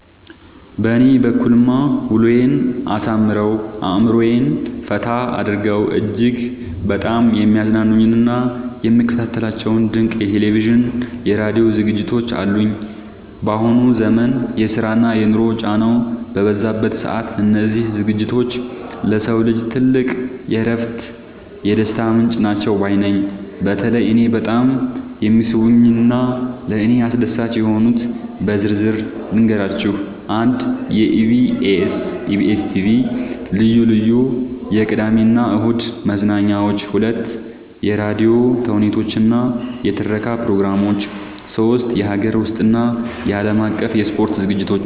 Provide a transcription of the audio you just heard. በእኔ በኩልማ ውሎዬን አሳምረው፣ አእምሮዬን ፈታ አድርገው እጅግ በጣም የሚያዝናኑኝና የምከታተላቸው ድንቅ የቴሌቪዥንና የራዲዮ ዝግጅቶች አሉኝ! ባሁኑ ዘመን የስራና የኑሮ ጫናው በበዛበት ሰዓት፣ እነዚህ ዝግጅቶች ለሰው ልጅ ትልቅ የእረፍትና የደስታ ምንጭ ናቸው ባይ ነኝ። በተለይ እኔን በጣም የሚስቡኝንና ለእኔ አስደሳች የሆኑትን በዝርዝር ልንገራችሁ፦ 1. የኢቢኤስ (EBS TV) ልዩ ልዩ የቅዳሜና እሁድ መዝናኛዎች 2. የራዲዮ ተውኔቶችና የትረካ ፕሮግራሞች 3. የሀገር ውስጥና የዓለም አቀፍ የስፖርት ዝግጅቶች